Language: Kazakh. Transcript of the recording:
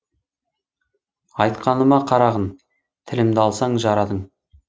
айтқаныма қарағын тілімді алсаң жарадың